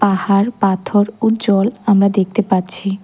পাহাড় পাথর ও জল আমরা দেখতে পাচ্ছি।